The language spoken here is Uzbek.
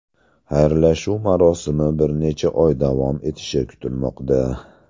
Xayrlashuv marosimi bir necha oy davom etishi kutilmoqda.